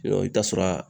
I bɛ taa sɔrɔ a